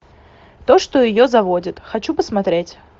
то что ее заводит хочу посмотреть